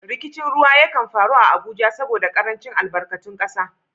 Rikicin ruwa ya kan faru a Abuja saboda karancin albarkatun kasa.